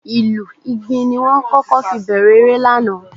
Ìlù Ìgbìn ni wọ́n kọ́kọ́ fi bẹ̀rẹ̀ eré lánàá